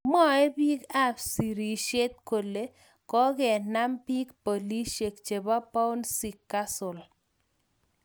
Mwae bik a sirishet kole kokenam bik polishek chebo bouncy castle.